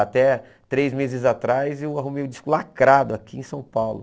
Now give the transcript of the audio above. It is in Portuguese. Até três meses atrás eu arrumei um disco lacrado aqui em São Paulo.